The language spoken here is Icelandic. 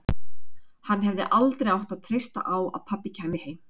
Hann hefði aldrei átt að treysta á að pabbi kæmi heim.